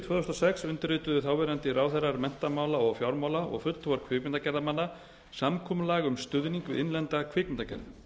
þúsund og sex undirrituðu þáverandi ráðherrar menntamála og fjármála og fulltrúar kvikmyndagerðarmanna samkomulag um stuðning við innlenda kvikmyndagerð